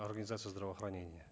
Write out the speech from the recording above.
организация здравоохранения